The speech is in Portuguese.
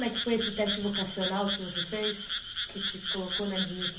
Como é que foi esse teste vocacional que você fez? Que te colocou na